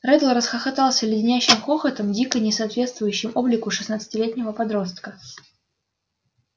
реддл расхохотался леденящим хохотом дико не соответствующим облику шестнадцатилетнего подростка